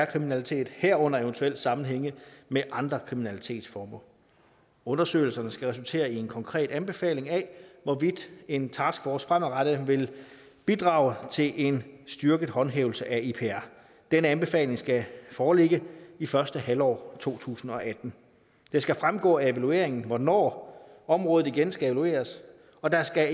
kriminalitet herunder eventuelt sammenhænge med andre kriminalitetsformer undersøgelserne skal resultere i en konkret anbefaling af hvorvidt en taskforce fremadrettet vil bidrage til en styrket håndhævelse af ipr den anbefaling skal foreligge i første halvår af to tusind og atten det skal fremgå af evalueringen hvornår området igen skal evalueres og der skal